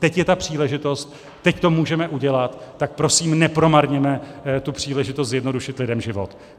Teď je ta příležitost, teď to můžeme udělat, tak prosím nepromarněme tu příležitost zjednodušit lidem život.